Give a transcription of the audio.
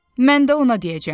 Mən də ona deyəcəm.